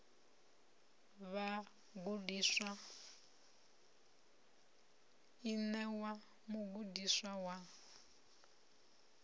vhagudiswa i ṋewa mugudiswa wa